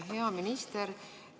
Hea minister!